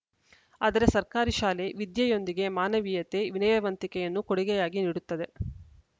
ಆದರೆ ಸರ್ಕಾರಿ ಶಾಲೆ ವಿದ್ಯೆಯೊಂದಿಗೆ ಮಾನವೀಯತೆ ವಿನಯವಂತಿಕೆಯನ್ನು ಕೊಡುಗೆಯಾಗಿ ನೀಡುತ್ತದೆ